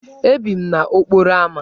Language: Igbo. Ebi m n'okporo ámá.